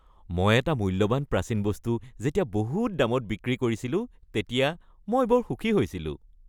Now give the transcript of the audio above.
মই এটা মূল্যৱান প্ৰাচীন বস্তু যেতিয়া বহুত দামত বিক্ৰী কৰিছিলোঁ তেতিয়া মই বৰ সুখী হৈছিলোঁ।